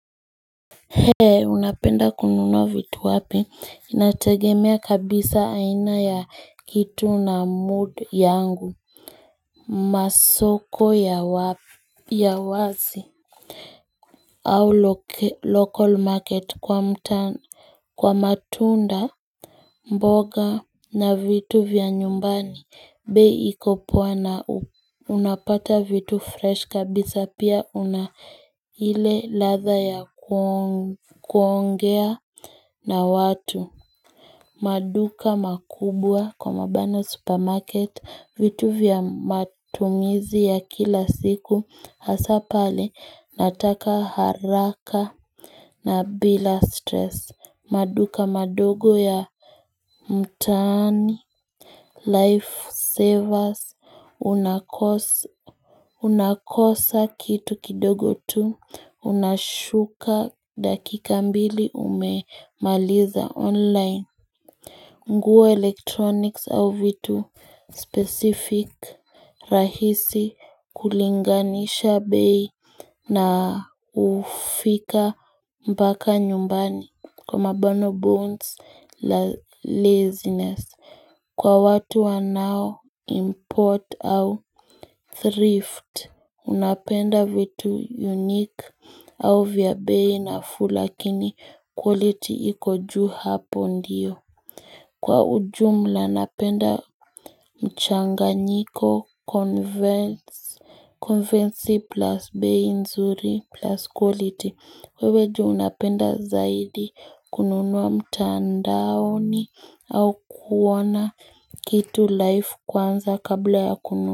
He unapenda kununua vitu wapi inategemea kabisa aina ya kitu na mood yangu hhhh mmm Masoko ya wapi ya wazi au local market kwa mtand Kwa matunda hh mh mboga na vitu vya nyumbani bei iko poa na Unapata vitu fresh kabisa pia unaile latha ya kuongea na watu hhh maduka makubwa Kwa mabano supermarket vitu vya matumizi ya kila siku hasaa pale nataka haraka na bila stress maduka madogo ya mtaani mhchh Life savers unakosa Unakosa kitu kidogo tu, unashuka dakika mbili ume maliza online mmh Nguwe electronics au vitu hh specific hh rahisi hh kulinganisha bei Naa ukh ufika mbaka nyumbani kwa mabano bones la laziness Kwa watu wanao import au thrift napenda vitu unique au vya bei na fuu lakini quality iko ju hapo ndiyo hhh Kwa ujumla napenda mhh mchang nyiko converse Converse plus bei nzuri plus quality wewe ju unapenda zaidi kununua mtandaoni au kuoana kitu life kwanza kabla ya kunu.